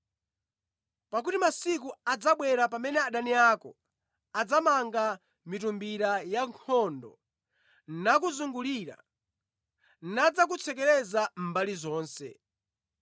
Pakuti masiku adzabwera pamene adani ako adzamanga mitumbira yankhondo nakuzungulira, nadzakutsekereza mbali zonse.